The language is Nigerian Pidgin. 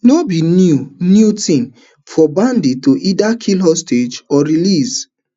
no be new new tin for bandits to either kill hostages or release